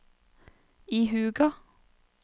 ihuga